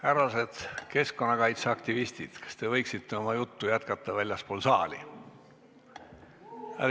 Härrased keskkonnakaitseaktivistid, kas te võiksite oma juttu jätkata väljaspool saali?